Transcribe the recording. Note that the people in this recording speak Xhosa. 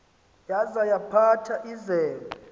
yaza yaphatha izembe